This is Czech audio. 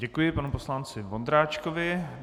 Děkuji panu poslanci Vondráčkovi.